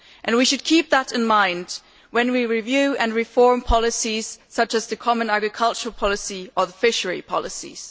We should keep that in mind when we review and reform policies such as the common agricultural policy and fisheries policies.